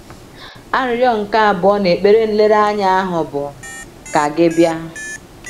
Arịrịọ nke abụọ n’ekpere nlereanya ahụ bụ: Ka gị bịa.